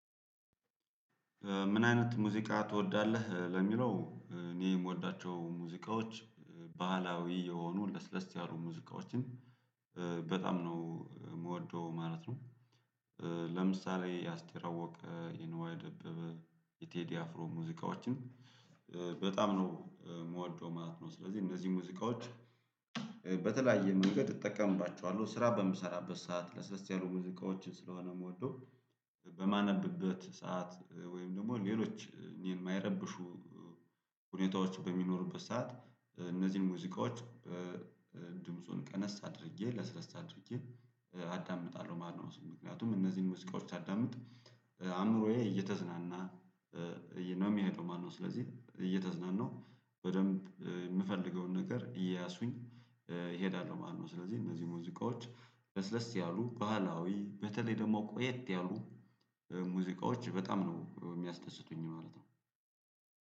ምን አይነት ሙዚቃ ትወዳለህ ለሚለው እኔ የምወዳቸው ሙዚቃዎች ባህላዊ የሆኑ ለስለስ ያሉ ሙዚቃዎችን በጣም ነው የምወደው ማለት ነው። ለምሳሌ የአስቴር አወቀ የንዋይ ደበበ የቴዲ አፍሮ ሙዚቃዎችን በጣም ነው የምወደው ማለት ነው። ስለዚህ እነዚህን ሙዚቃዎች በተለያየ መንገድ እጠቀምባቸዋለሁ ስራ በምሰራበት ሰዓት ለስለስ ያሉ ሙዚቃዎችን ስለሆነ ምወደው። በማነብበት ሰዓት ወይም ደግሞ ሌሎች እኔን የማይረብሹ ሁኔታዎች በሚኖሩበት ሰዓት እነዚህን ሙዚቃዎች ድምፁን ቀነስ አድርጌ ለስለስ አድርጌ አዳምጣለሁ ማለት ነው። ምክንያቱም እነዚህን ሙዚቃዎች ሳዳምጥ አእምሮዬ እየተዝናና ነው የሚሄደው ማለት ነው። ስለዚህ እየተዝናናሁ በደንብ የምፈልገውን ነገር እየያዝኩኝ እሄዳለሁ ማለት ነው። ስለዚህ እነዚህ ሙዚቃዎች ለስለስ ያሉ ባህላዊ በተለይ ደግሞ ቆየት ያሉ ሙዚቃዎች በጣም ነው የሚያስደስቱኝ ማለት ነው።